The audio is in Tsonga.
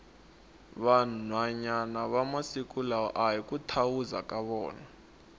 vanhwana va masiku lawa ahi ku thawuza ka vona